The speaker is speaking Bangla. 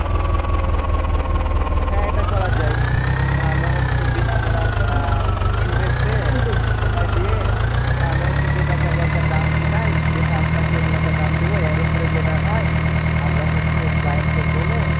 হ্যাঁ এটা করা যায় তাহলে হচ্ছে বিনা মুনাফা Invest-এ সময় দিয়ে তাহলে হচ্ছে ক্রেতাকে আগে একটা দাম মিটাই যে হ্যাঁ আপনাকে এরকম একটা দাম দেব এর উপরে যেটা হয় আমরা হচ্ছে Client-কে বলে